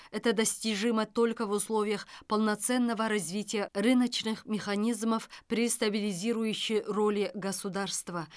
это достижимо только в условиях полноценного развития рыночных механизмов при стабилизирующей роли государства